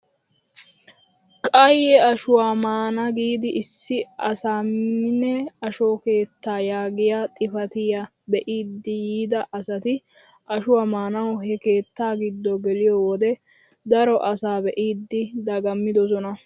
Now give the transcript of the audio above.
Qaye ashshuwaa maana giidi issi asaamine asho keettaa yaagiyaa xifatiyaa be'idi yiida asati ashshuwaa maanawu he keettaa giddo geliyoo wode daro asaa be'idi dagammidosona!